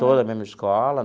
Todos na mesma escola.